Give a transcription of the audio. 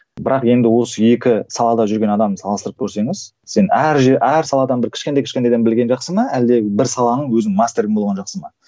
бірақ енді осы екі салада жүрген адамды салыстырып көрсеңіз сен әр жер әр саладан бір кішкентай кішкентайдан білген жақсы ма әлде бір саланың өзінің мастері болған жақсы ма